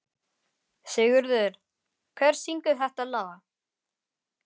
Sigurður, hver syngur þetta lag?